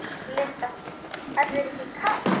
Linda: Er þér ekki kalt?